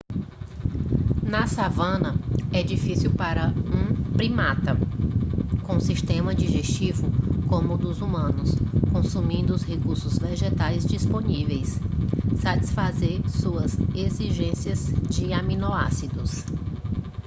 na savana é difícil para um primata com um sistema digestivo como o dos humanos consumindo os recursos vegetais disponíveis satisfazer suas exigências de aminoácidos